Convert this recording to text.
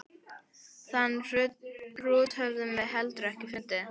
Þann hrút höfum við heldur ekki fundið.